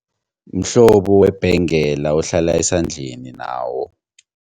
Mhlobo webhengela ohlala esandleni nawo.